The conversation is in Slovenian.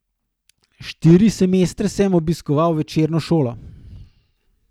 Štiri semestre sem obiskoval večerno šolo.